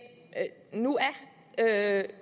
nu er